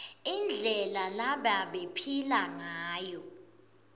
indlela lebabephila ngayo